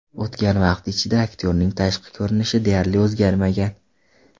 O‘tgan vaqt ichida aktyorning tashqi ko‘rinishi deyarli o‘zgarmagan.